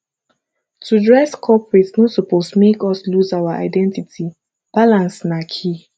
to dress corporate no suppose make us lose our identity balance na key